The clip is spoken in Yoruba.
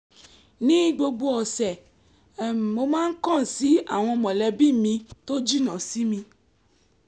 ní gbogbo ọ̀sẹ̀ mo máa ń kàn sí àwọn mọ̀lẹ́bí mi tó jìnnà sí mi